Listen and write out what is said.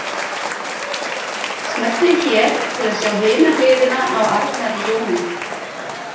Smellið hér til að sjá hina hliðina á Arnari Jóni